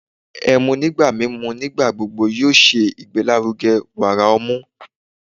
ẹmu nigba mimu nigbagbogbo yóò ṣe igbelaruge wara ọmu